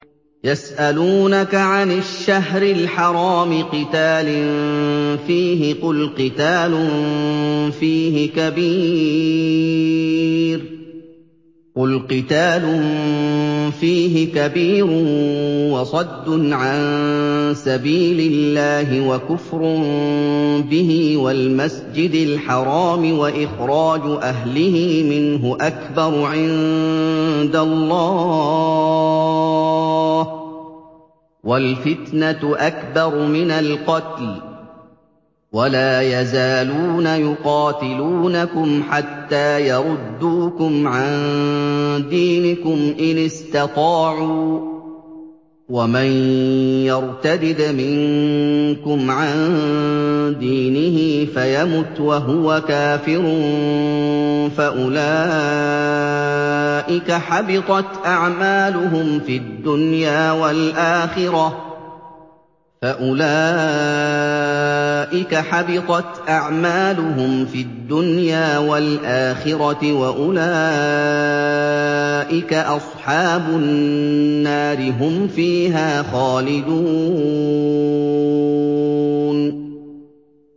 يَسْأَلُونَكَ عَنِ الشَّهْرِ الْحَرَامِ قِتَالٍ فِيهِ ۖ قُلْ قِتَالٌ فِيهِ كَبِيرٌ ۖ وَصَدٌّ عَن سَبِيلِ اللَّهِ وَكُفْرٌ بِهِ وَالْمَسْجِدِ الْحَرَامِ وَإِخْرَاجُ أَهْلِهِ مِنْهُ أَكْبَرُ عِندَ اللَّهِ ۚ وَالْفِتْنَةُ أَكْبَرُ مِنَ الْقَتْلِ ۗ وَلَا يَزَالُونَ يُقَاتِلُونَكُمْ حَتَّىٰ يَرُدُّوكُمْ عَن دِينِكُمْ إِنِ اسْتَطَاعُوا ۚ وَمَن يَرْتَدِدْ مِنكُمْ عَن دِينِهِ فَيَمُتْ وَهُوَ كَافِرٌ فَأُولَٰئِكَ حَبِطَتْ أَعْمَالُهُمْ فِي الدُّنْيَا وَالْآخِرَةِ ۖ وَأُولَٰئِكَ أَصْحَابُ النَّارِ ۖ هُمْ فِيهَا خَالِدُونَ